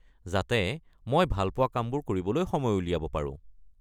যাতে মই ভাল পোৱা কামবোৰ কৰিবলৈ সময় উলিয়াব পাৰো।